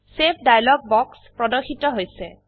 save dialog বাক্স প্রদর্শিত হৈছে